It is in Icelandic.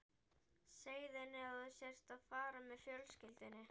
Segðu henni að þú sért að fara með fjölskyldunni